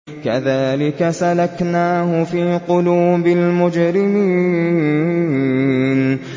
كَذَٰلِكَ سَلَكْنَاهُ فِي قُلُوبِ الْمُجْرِمِينَ